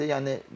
Çox pisdir.